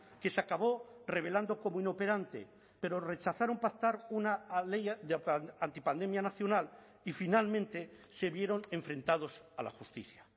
que se acabó revelando como inoperante pero rechazaron pactar una ley antipandemia nacional y finalmente se vieron enfrentados a la justicia